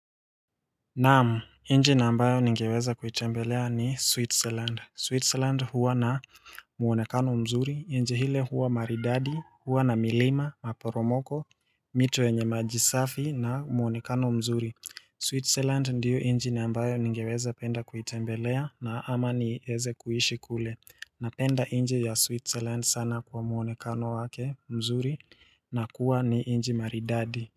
Naam nchi na ambayo ningeweza kuitembelea ni switzerland switzerland huwa na muonekano mzuri nchi hile huwa maridadi huwa na milima maporomoko mito yenye maji safi na muonekano mzuri switzerland ndiyonchi na ambayo ningeweza penda kuitembelea na ama ni eze kuishi kule na penda nchi ya switzerland sana kwa muonekano wake mzuri na kuwa ni nchi maridadi.